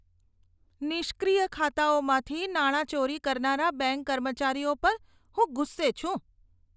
નિષ્ક્રિય ખાતાઓમાંથી નાણાં ચોરી કરનારા બેંક કર્મચારીઓ પર હું ગુસ્સે છું.